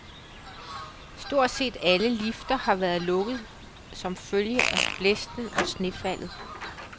Stort set alle lifter har været lukket som følge af blæsten og snefaldet.